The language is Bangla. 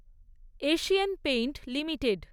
Asian paint limited